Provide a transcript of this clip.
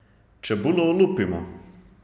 Čebulo olupimo.